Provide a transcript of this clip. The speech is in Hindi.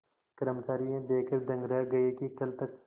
कर्मचारी यह देखकर दंग रह गए कि कल तक